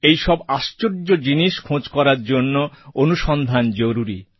এই সব আশ্চর্য জিনিস খোঁজ করার জন্য অনুসন্ধান জরুরি